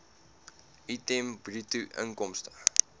item bruto inkomste